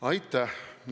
Aitäh!